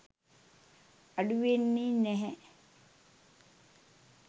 අඩු වෙන්නෙ නැහැ